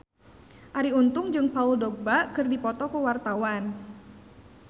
Arie Untung jeung Paul Dogba keur dipoto ku wartawan